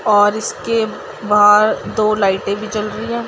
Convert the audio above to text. और इसके बाहर दो लाइटे भी जल रही है।